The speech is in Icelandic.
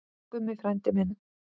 Elsku Gummi frændi minn.